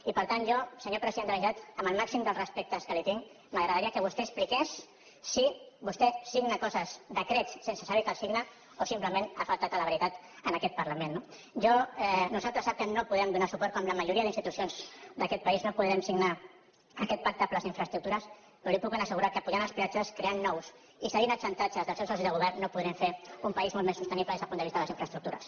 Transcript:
i per tant jo senyor president de la generalitat amb el màxim dels respectes que li tinc m’agradaria que vostè expliqués si vostè signa coses decrets sense saber que els signa o simplement ha faltat a la veritat en aquest parlament no nosaltres sap que no podrem donar suport com la majoria d’institucions d’aquest país no podrem signar aquest pacte per a les infraestructures però li puc ben assegurar que apujant els peatges creant ne de nous i cedint als xantatges dels seus socis de govern no podrem fer un país molt més sostenible des del punt de vista de les infraestructures